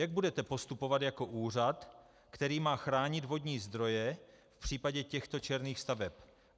Jak budete postupovat jako úřad, který má chránit vodní zdroje v případě těchto černých staveb?